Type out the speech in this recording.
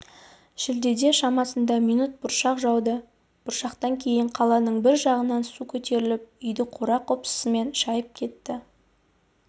шілдеде шамасында минут бұршақ жауды бұршақтан кейін қаланың бір жағынан су көтеріліп үйді қора-қопсысымен шайып кетті